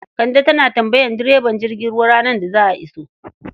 Kande tana tambayar direban jirgin ruwa ranar da za a iso.